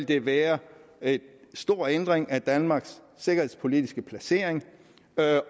det være en stor ændring af danmarks sikkerhedspolitiske placering